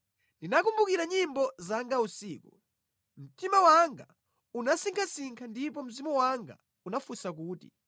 Ndinakumbukira nyimbo zanga usiku. Mtima wanga unasinkhasinkha ndipo mzimu wanga unafunsa kuti,